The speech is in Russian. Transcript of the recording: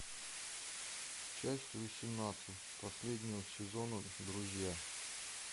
часть восемнадцать последнего сезона друзья